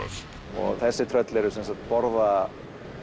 og þessi tröll borða